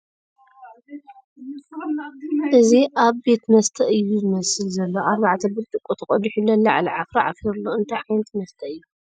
እዚ ኣብ ቤት መስተ እዩ ዝመስል ዘሎ ኣርባዕተ ብርጭቖ ተቐዲሑ ለላዕሉ ዓፍራ ዓፊሩ ኣሎ ፡ እንታይ ዓይነት መስተ እዩ ?